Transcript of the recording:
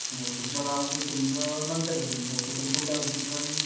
ह्म्म्म. तुमच्या गावांमध्ये तुमचं नंतर होईल बहुतेक करून पुढल्या वर्षी किंवा